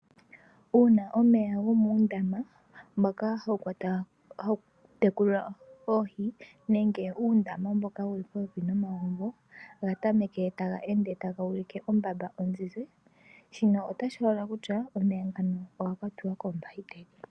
Uuna omeya gomundama mboka hawu kekulwa oohi nenge uundama mboka wuli popepi nomagumbo gatameke taga ende taga ulike ombamba onzinzi shino otashi holola kutya omeya ngoka oga kwatiwa kombahiteli.